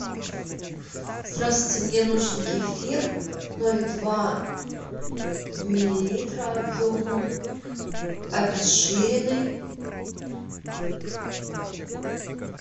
здравствуйте мне нужен кефир ноль два миллилитра объемом обезжиренный